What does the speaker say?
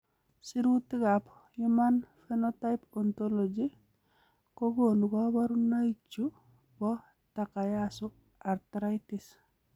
Sirutikab Human Phenotype Ontology kokonu koborunoikchu chebo Takayasu arteritis.